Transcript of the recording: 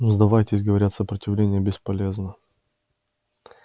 ну сдавайтесь говорят сопротивление бесполезно